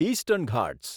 eastern Ghats